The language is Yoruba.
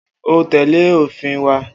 O óò tè̩lé òfin wa!